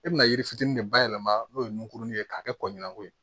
E bɛna yiri fitinin de bayɛlɛma n'o ye nunkurunin ye k'a kɛ kɔɲɔko ye